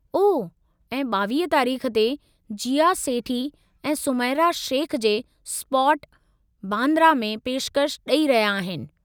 ओह, ऐं 22 तारीख़ ते, जीया सेठी ऐं सुमैरा शेख जे. स्पॉट, बांद्रा में पेशकशि ॾेई रहिया आहिनि।